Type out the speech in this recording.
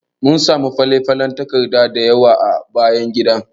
Mun samu falen falen takarda dayawa a bayan gidan.